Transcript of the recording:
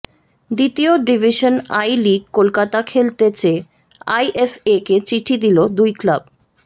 দ্বিতীয় division I League Kolkata খেলতে চেয়ে আইএফএকে চিঠি দিল দুই ক্লাব